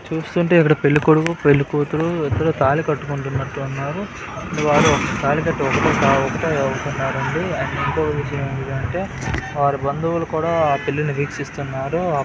చూస్తుంటే ఇక్కడ పెళ్ళికొడుకు పెళ్ళికూతురు ఇద్దరూ తాళి కట్టుకుంటున్నట్టున్నారు. వారు తాళికట్టే ఒకటంటే ఒకసారండి అండ్ ఇంకో విషయం ఏమిటంటె వారి బంధువులు కూడ ఆ పెళ్లిని వీక్షిస్తున్నారు.